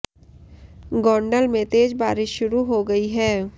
गोंडल में तेज बारिश शुरू हो गई है